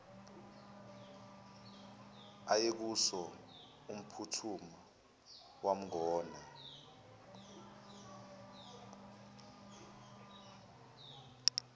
ayekuso wamphuthuma wamgona